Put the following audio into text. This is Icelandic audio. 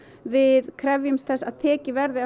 við krefjumst þess að tekið verði